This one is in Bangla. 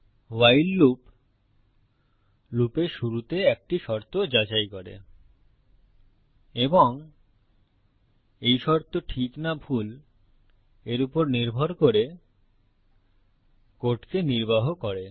ভাইল লুপ লুপের শুরুতে একটি শর্ত যাচাই করে এবং এই শর্ত ঠিক না ভুল এর উপর নির্ভর করে কোডকে নির্বাহ করে